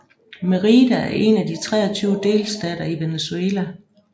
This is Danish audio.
Mérida er en af de 23 delstater i Venezuela